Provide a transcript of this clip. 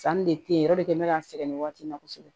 Sanni de te yen yɔrɔ de bɛ ka sɛgɛn nin waati in na kosɛbɛ